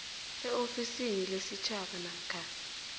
eofisini lesitjhaba namkha